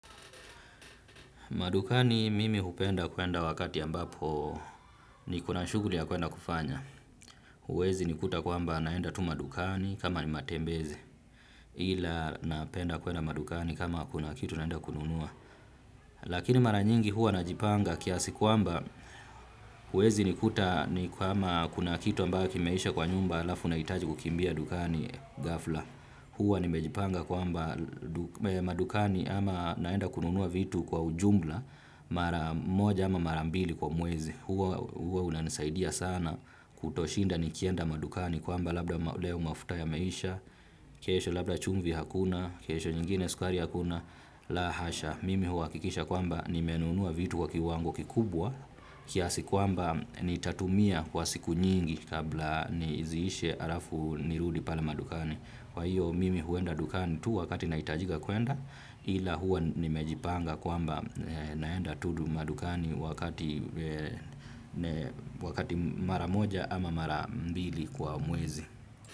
Madukani mimi hupenda kwenda wakati ambapo niko na shughuli ya kwenda kufanya. Huwezi nikuta kwamba naenda tu madukani kama ni matembezi ila napenda kwenda madukani kama kuna kitu naenda kununua. Lakini mara nyingi huwa najipanga kiasi kwamba huwezi nikuta ni kama kuna kitu ambayo kimeisha kwa nyumba halafu nahitaji kukimbia dukani ghafla. Huwa nimejipanga kwamba madukani ama naenda kununua vitu kwa ujumla mara moja ama mara mbili kwa mwezi huwa unanisaidia sana kutoshinda nikienda madukani kwamba labda leo mafuta yameisha kesho labda chumvi hakuna kesho nyingine sukari hakuna la hasha mimi huhakikisha kwamba nimenunua vitu kwa kiwango kikubwa kiasi kwamba nitatumia kwa siku nyingi kabla ziishe halafu nirudi pale madukani kwa hiyo mimi huenda dukani tu wakati nahitajika kwenda ila huwa nimejipanga kwamba naenda tu madukani wakati mara moja ama mara mbili kwa mwezi.